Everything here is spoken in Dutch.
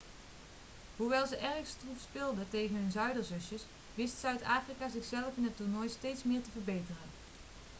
hoewel ze erg stroef speelden tegen hun zuiderzusjes wist zuid-afrika zichzelf in het toernooi steeds meer te verbeteren